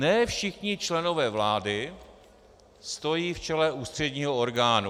Ne všichni členové vlády stojí v čele ústředního orgánu.